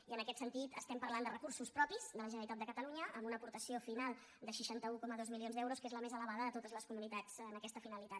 i en aquest sentit estem parlant de recursos propis de la generalitat de catalunya amb una aportació final de seixanta un coma dos milions d’euros que és la més elevada de totes les comunitats en aquesta finalitat